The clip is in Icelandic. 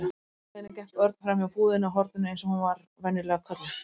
Á heimleiðinni gekk Örn framhjá búðinni á horninu eins og hún var venjulega kölluð.